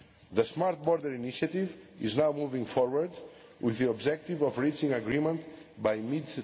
The Smart Border Initiative is now moving forward with the objective of reaching agreement by mid